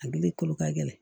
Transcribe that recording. A gili kolo ka gɛlɛn